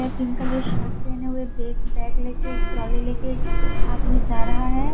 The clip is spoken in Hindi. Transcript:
पिंक कलर शर्ट पहने हुए बेग बैग ले के ट्राली ले के आदमी जा रहा है।